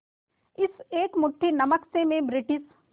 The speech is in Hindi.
इस एक मुट्ठी नमक से मैं ब्रिटिश